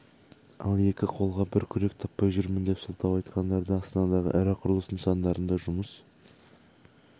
ал екі қолға бір күрек таппай жүрмін деп сылтау айтқандарды астанадағы ірі құрылыс нысандарында жұмыс